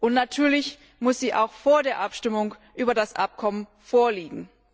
Und natürlich muss sie auch vor der Abstimmung über das Abkommen vorliegen.